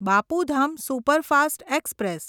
Bapu Dham superfast express